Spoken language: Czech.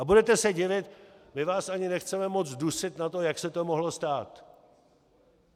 A budete se divit: my vás ani nechceme moc dusit na to, jak se to mohlo stát.